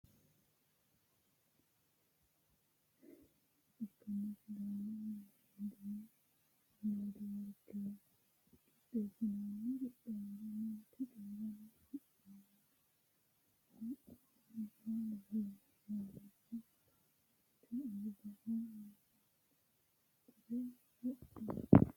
kuni misilete aana leellannohu sidaamunniha jawa geercho ikkanna sidaamu miidiyi neetiworkera qixxeessinoonni qixxaawora mancho coyiiranna haa'noonniha leellishshanno. manchu albaho manaxure wodhino.